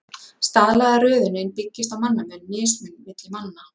Staðlaða röðunin byggist á mannamun, mismun milli manna.